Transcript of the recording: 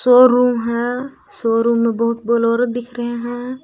Showroom है showroom में बहुत बोलोरो दिख रहे हैं।